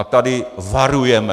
A tady varujeme.